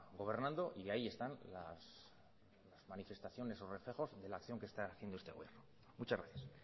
gobernando y ahí están las manifestaciones y recejos que la acción que está haciendo este gobierno muchas gracias